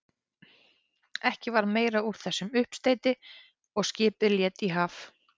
Ekki varð meira úr þessum uppsteyti og skipið lét í haf.